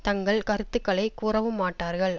தங்கள் கருத்துக்களை கூறவும் மாட்டார்கள்